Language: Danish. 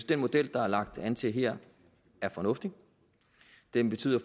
den model der er lagt an til her er fornuftig den betyder